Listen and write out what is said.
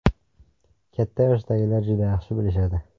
Katta yoshdagilar juda yaxshi bilishadi.